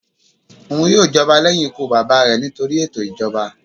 Oun yoo jọba lẹhin ikú baba rẹ nitori eto ijọba.